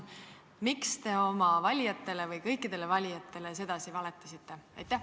Miks te oma valijatele või kõikidele valijatele sedasi valetasite?